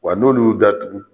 Wa n'olu y'u datugu